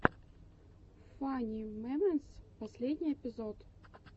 фани мемэнтс последний эпизод